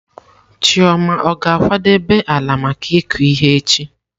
Chioma ọ ga-akwadebe ala maka ịkụ ihe echi?